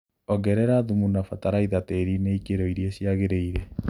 Ongrera thumu na bataraitha tĩrinĩ ikĩro iria ciagĩrĩire.